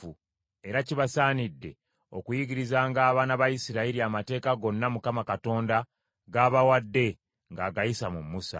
era kibasaanidde okuyigirizanga abaana ba Isirayiri amateeka gonna Mukama Katonda g’abawadde ng’agayisa mu Musa.”